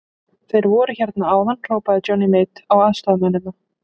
Þeir voru hérna áðan, hrópaði Johnny Mate á aðstoðarmennina.